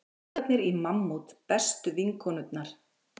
Strákarnir í Mammút bestu vinkonurnar